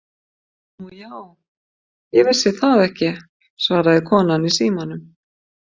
Nú já, ég vissi það ekki, svaraði konan í símanum.